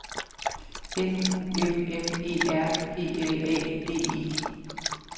N U M M E R P L A D E